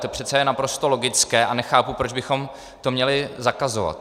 To přece je naprosto logické a nechápu, proč bychom to měli zakazovat.